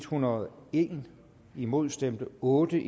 hundrede og en imod stemte otte